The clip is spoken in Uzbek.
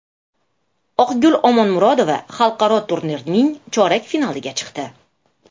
Oqgul Omonmurodova xalqaro turnirning chorak finaliga chiqdi.